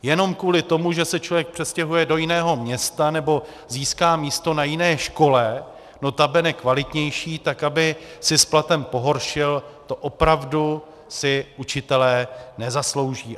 Jenom kvůli tomu, že se člověk přestěhuje do jiného města nebo získá místo na jiné škole, notabene kvalitnější, tak aby si s platem pohoršil, to opravdu si učitelé nezaslouží.